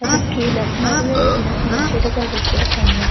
அதுக்கு கீழ நறைய சின்ன சின்ன செடிகள் வெச்சிருக்காங்க.